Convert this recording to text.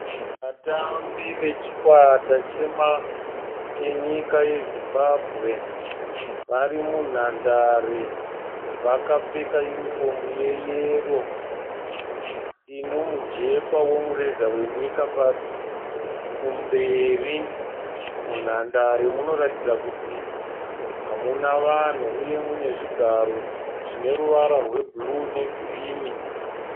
Vatambi vachikwata chenyika yeZimbabwe vari munhandare. Vakapfeka yunifomu yeyero ine mujekwa wemureza wenyika kumberi. Munhandare munoratidza kuti hamuna vanhu uye mune zvigaro zvine ruvara rwebhuruu negirinhi.